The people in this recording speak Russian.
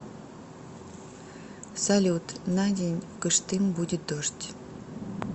салют на день в кыштым будет дождь